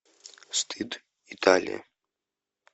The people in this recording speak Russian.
стыд италия